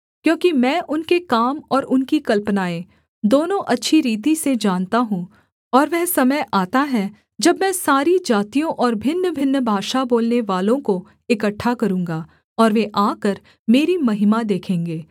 क्योंकि मैं उनके काम और उनकी कल्पनाएँ दोनों अच्छी रीति से जानता हूँ और वह समय आता है जब मैं सारी जातियों और भिन्नभिन्न भाषा बोलनेवालों को इकट्ठा करूँगा और वे आकर मेरी महिमा देखेंगे